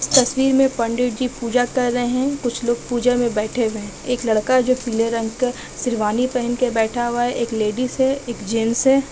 इस तस्वीर मे पंडित जी पूजा कर रहे है कुछ लोग पूजा मे बैठे हुए हैएक लड़का जो पीले रंग का सेरवानी पेहन के बैठा हुआ है एक लेडिस हे। एक जेंट्स हैं।